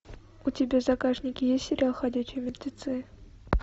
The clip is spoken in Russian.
у тебя в загашнике есть сериал ходячие мертвецы